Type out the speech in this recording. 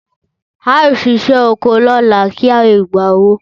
Ao sise oko lola ki a le gba owo